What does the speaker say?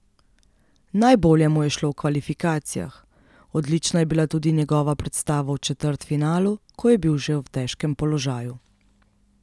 Najbolje mu je šlo v kvalifikacijah, odlična je bila tudi njegova predstava v četrtfinalu, ko je bil že v težkem položaju.